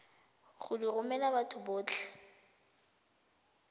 go di romela batho botlhe